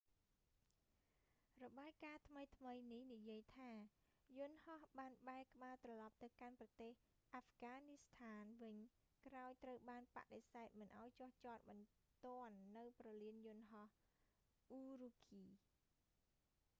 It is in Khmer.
របាយការណ៍​ថ្មី​ៗ​នេះ​និយាយ​ថា​ យន្តហោះ​បាន​បែរក្បាល​ត្រឡប់​ទៅកាន់​ប្រទេសអាហ្វហ្គានីស្ថាន​វិញ ​ក្រោយ​​ត្រូវ​បាន​បដិសេធ​មិន​ឲ្យ​​​ចុះ​ចត​បន្ទាន់​នៅ​ព្រលាន​យន្ត​ហោះ​ ürümqi។